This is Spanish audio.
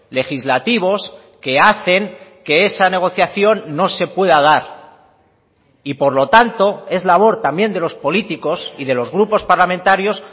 legislativos que hacen que esa negociación no se pueda dar y por lo tanto es labor también de los políticos y de los grupos parlamentarios